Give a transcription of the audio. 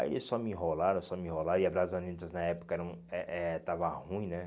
Aí eles só me enrolaram, só me enrolaram, e a na época era um eh eh estava ruim, né?